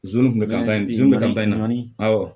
Zon bɛ ka ban dimi kun bɛ ka ban naani